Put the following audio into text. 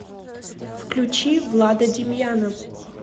включи влада демьяна